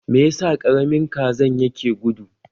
Me yasa Karamin Kazan yake gudu?